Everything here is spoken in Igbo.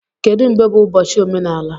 Kedu mgbe bụ ụbọchị omenala?